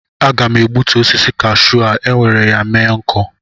Aga m egbutu osisi Kashu a were ya mee nkụ